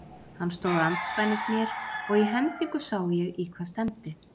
Hann stóð andspænis mér og í hendingu sá ég í hvað stefndi.